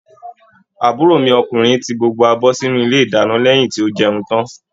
Àbúrò mi ọkùnrin tí gbogbo abọ sínú ilé ìdáná lẹyìn tó jẹun tán.